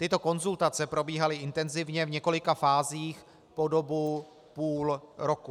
Tyto konzultace probíhaly intenzivně v několika fázích po dobu půl roku.